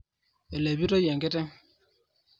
Elepitoi enkiteng